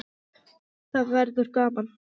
Það verður gaman.